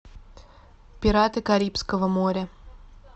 пираты карибского моря